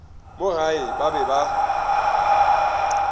mo gae ba be ba